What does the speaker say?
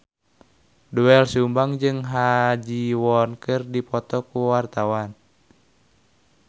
Doel Sumbang jeung Ha Ji Won keur dipoto ku wartawan